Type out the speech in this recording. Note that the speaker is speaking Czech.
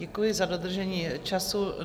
Děkuji za dodržení času.